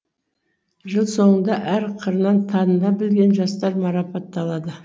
жыл соңында әр қырынан таныла білген жастар марапатталады